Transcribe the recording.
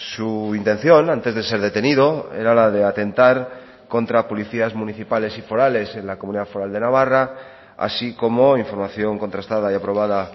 su intención antes de ser detenido era la de atentar contra policías municipales y forales en la comunidad foral de navarra así como información contrastada y aprobada